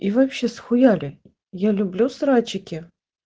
и вообще схуяли я люблю срачики